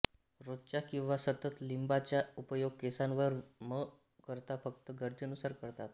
रोजचा किंवा सतत लिंबाचा उपयोग केसांवर म करता फक्त गरजेनुसार करतात